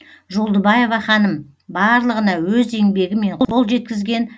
жолдыбаева ханым барлығына өз еңбегімен қол жеткізген